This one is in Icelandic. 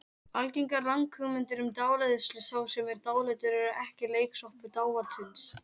Algengar ranghugmyndir um dáleiðslu Sá sem er dáleiddur er ekki leiksoppur dávaldsins.